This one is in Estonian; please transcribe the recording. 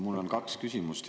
Mul on kaks küsimust.